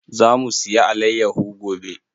Za mu siya alayyaho gobe.